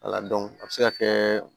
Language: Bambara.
Wala a bɛ se ka kɛ